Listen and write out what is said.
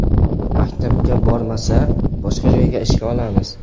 Maktabga bormasa, boshqa joyga ishga olamiz.